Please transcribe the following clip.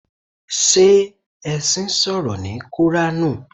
Ṣé ẹṣin sọ̀rọ̀ ní koranu?